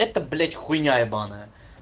это блять хуйня ебанная